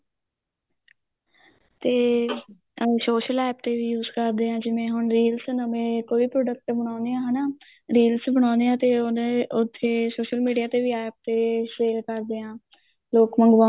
ਤੇ social APP ਤੇ ਵੀ use ਕਰਦੇ ਆ ਜਿਵੇਂ ਹੁਣ reels ਨਵੇ ਕੋਈ product ਬਣਾਉਣੇ ਆ ਹਨਾ reels ਬਣਾਉਣੇ ਆ ਤੇ ਉਹਦੇ ਉੱਥੇ social media ਤੇ ਵੀ APP ਤੇ sale ਕਰਦੇ ਆ ਲੋਕ ਮੰਗਵਾਉਂਦੇ